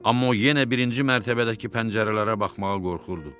Amma o yenə birinci mərtəbədəki pəncərələrə baxmağa qorxurdu.